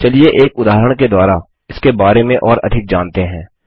चलिए एक उदाहरण के द्वारा इसके बारे में और अधिक जानते हैं